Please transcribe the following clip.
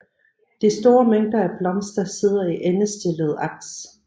De store mængder af blomster sidder i endestillede aks